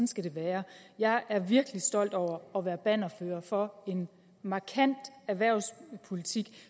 skal det være jeg er virkelig stolt over at være bannerfører for en markant erhvervspolitik